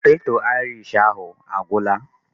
Poteto Aịrish ahụ a gwụla?